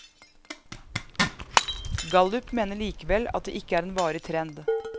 Gallup mener likevel at det ikke er en varig trend.